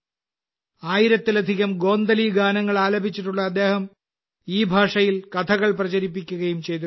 1000ലധികം ഗോന്ദലി ഗാനങ്ങൾ ആലപിച്ചിട്ടുള്ള അദ്ദേഹം ഈ ഭാഷയിൽ കഥകൾ പ്രചരിപ്പിക്കുകയും ചെയ്തിട്ടുണ്ട്